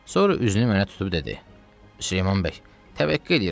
Sonra üzünü mənə tutub dedi: Süleyman bəy, təvəqqə eləyirəm.